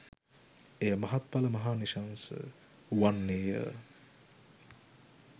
එය මහත්ඵල මහානිශංස වන්නේය